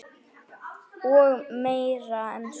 Og meira en svo.